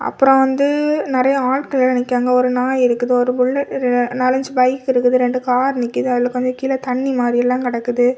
அப்புறம் வந்து நறைய ஆட்கள் எல்லாம் நிக்கிறாங்க ஒரு நாய் இருக்குது ஒரு புல்லட் நாலஞ்சு பைக் இருக்குது ரெண்டு கார் நிக்குது அதுல கொஞ்சம் கீழ தண்ணி மாதிரி எல்லாம் கெடக்குது.